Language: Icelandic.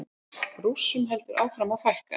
Rússum heldur áfram að fækka